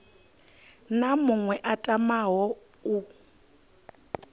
na muṅwe a tamaho u